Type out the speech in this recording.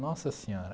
Nossa senhora.